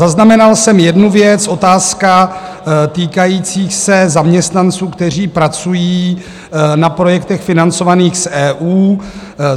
Zaznamenal jsem jednu věc - otázka týkající se zaměstnanců, kteří pracují na projektech financovaných z EU.